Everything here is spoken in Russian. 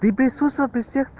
и присутствовал при всех